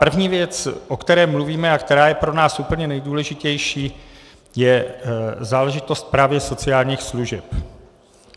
První věc, o které mluvíme a která je pro nás úplně nejdůležitější, je záležitost právě sociálních služeb.